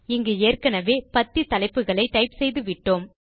இங்கு ஏற்கெனெவே பத்தி தலைப்புகளை டைப் செய்து விட்டோம்